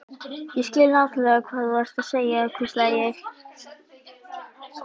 Ég skil nákvæmlega hvað þú ert að segja hvíslaði ég.